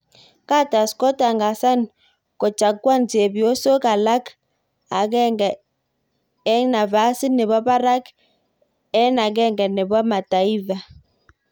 Guterres kotangasan kojakuan chepyosos alak aeng'et ik nafasit nebo barak ik akenge nebo Mataifa.